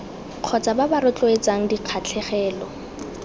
kgotsa ba ba rotloetsang dikgatlhegelo